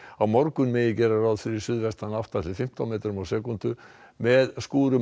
á morgun má gera ráð fyrir suðvestan átta til fimmtán metrum á sekúndu með skúrum